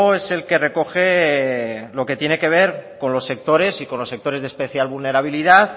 es el que recoge lo que tiene que ver con los sectores y con los sectores de especial vulnerabilidad